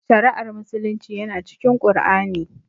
Shari'ar musulunci yana cikin Qur'ani